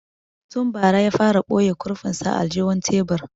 Tun bara ya fara boye kurfin sa a aljihun tebur